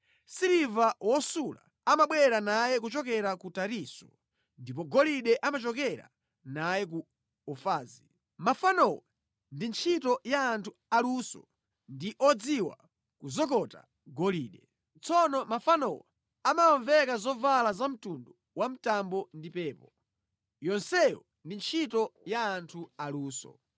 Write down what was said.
Siliva wosula amabwera naye kuchokera ku Tarisisi ndipo golide amachokera naye ku Ufazi. Mafanowo ndi ntchito ya anthu aluso ndi odziwa kuzokota golide. Tsono mafanowo amawaveka zovala za mtundu wamtambo ndi pepo. Yonseyo ndi ntchito ya anthu a luso.